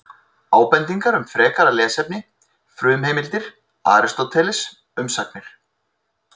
Ábendingar um frekara lesefni Frumheimildir: Aristóteles, Umsagnir.